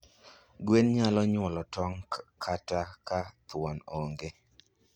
Gwen nyalo nyuolo tong' kata ka thuon onge.